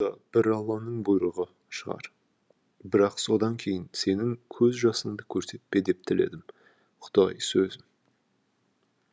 да бір алланың бұйрығы шығар бірақ содан кейін сенің көз жасыңды көрсетпе деп тіледім құдайы сөзім